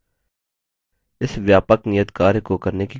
इस व्यापक नियतकार्य को करने की कोशिश करें